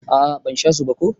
A'a ban sha su ba ko.